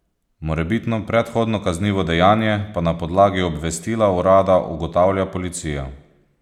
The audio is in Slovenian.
Morebitno predhodno kaznivo dejanje pa na podlagi obvestila urada ugotavlja policija.